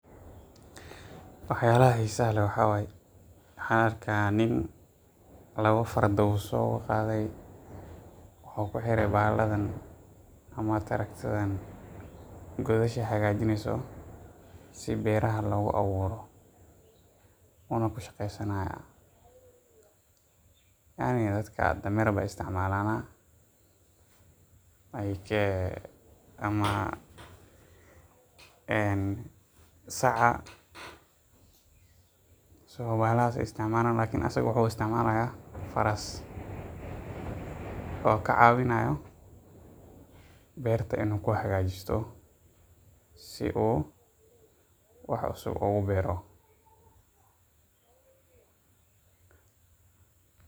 Wax yala xisaha leh waxaa waye waxan arki haya nin lawa farda ayuso qadhey wuxuu kuxire bahaladan ama wax yalahan godasha hagajineyso si beeraha logu aburo wuna ku shaqeysani haya cadhi dadka dameer ayey isticmalan, ee ama saca somali waxas ayey isticmalan lakin isaga hada wuxuu isticmali haya faras oo ka cawinayo berta in u ku hagajisto si wax un u ogu beero.